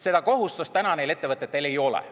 Seda kohustust täna neil ettevõtetel ei ole.